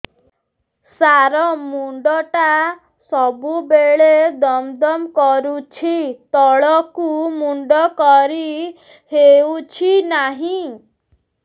ସାର ମୁଣ୍ଡ ଟା ସବୁ ବେଳେ ଦମ ଦମ କରୁଛି ତଳକୁ ମୁଣ୍ଡ କରି ହେଉଛି ନାହିଁ